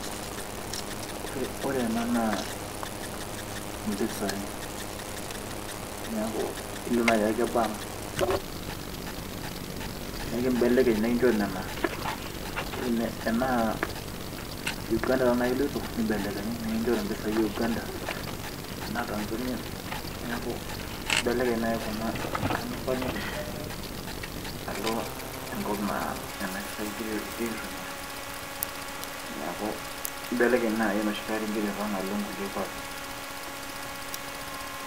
ore ena naa impisai neeku ilo naaji ake bank nikimbelekeny nikinchori nena enaa Uganda naaji iloito nibelekenyi nikinchori impisai e Uganda tenaa Tanzania neeku imbelekeny naaji kuna enkata nimpang'ita alo enkop naa nena pisai egira, egiray aitumia nieku imbelekeny naaji enoshi kata ingira aipang alo inkulie kuapi.